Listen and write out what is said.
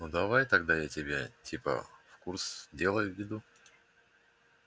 ну давай тогда я тебя типа в курс дела введу